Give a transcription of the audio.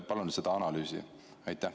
Palun seda analüüsi!